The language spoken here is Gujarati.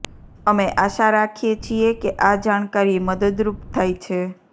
અમે આશા રાખીએ છીએ કે આ જાણકારી મદદરૂપ થાય છે